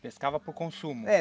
Pescava para o consumo? É